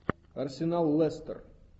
арсенал лестер